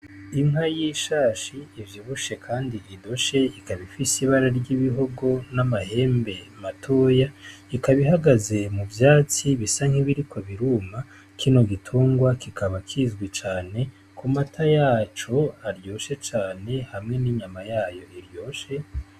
Inka y'ishashi ivyibushe kandi idoshe, ikaba ifise ibara ry'ibihugu n'amahembe matoya, ikaba ihagaze mu vyatsi bisa nk'ibiriko biruma. Kino gitungwa kikaba kizwi cane ku mata yaco aryoshe cane hamwe n'inyama yayo iryoshe.